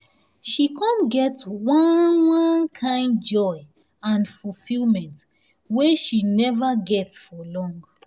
she come get one one kind joy and fulfillment wey she never get for long.